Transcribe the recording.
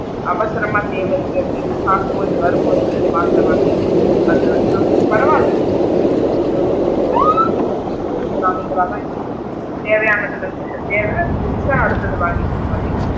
அவசரமா தேவை இருக்கு அப்படின்னா class போயிட்டு வரும் போது smart ல வாங்கிட்டு வந்திடுவேன் பரவால உனக்கு கொஞ்சம் என்ன சொல்றது economical லா தான் இருக்கு தேவையானதுல இருந்து தேவைனா இது முடிசிச்சா அடுத்தது வாங்கிக்கிற மாதிரி.